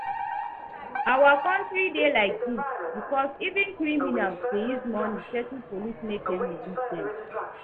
Our country dey like dis because even criminals dey use money settle police make dem release dem